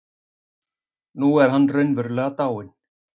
Nú er hann raunverulega dáinn.